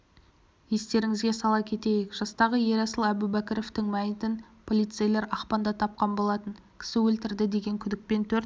естеріңізге сала кетейік жастағы ерасыл әубәкіровтің мәйітін полицейлер ақпанда тапқан болатын кісі өлтірді деген күдікпен төрт